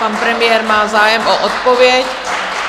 Pan premiér má zájem o odpověď.